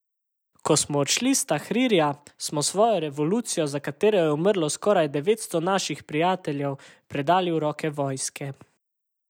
Ko smo odšli s Tahrirja, smo svojo revolucijo, za katero je umrlo skoraj devetsto naših prijateljev, predali v roke vojske.